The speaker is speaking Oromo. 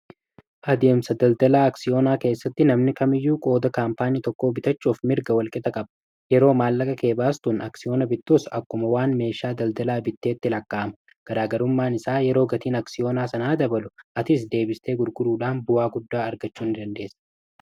Adeemsa daldala aksiyoonaa keessatti namni kamiyyuu qooda kaampaanii tokko bitachuuf mirga walqixa qaba. Yeroo maallaqakee baastus aksiyoona bittus akkuma waan meeshaa daldalaa bitteetti lakkaa'ama. Garaa garummaan isaa yeroo gatiin aksiyoona sanaa dabalu atis deebistee gurguruudhaan bu'aa guddaa argachuu indandeessa.